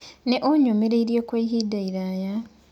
Nĩ eyũmĩrĩirie kwa ihinda iraya.